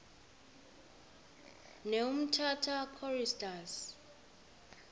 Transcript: ne umtata choristers